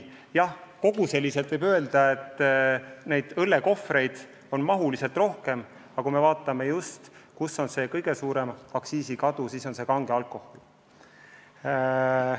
Jah, koguseliselt võib öelda, et õllekohvreid on rohkem, aga kui me vaatame, kus on kõige suurem aktsiisikadu, siis on see kange alkoholi osas.